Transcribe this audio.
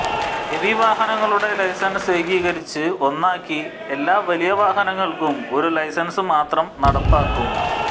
heavy വാഹനങ്ങളുടെ licence ഏകീകരിച്ചു ഒന്നാക്കി എല്ലാ വലിയ വാഹനങ്ങള്ക്കും ഒരു ലൈസന്സു മാത്രം നടപ്പാക്കും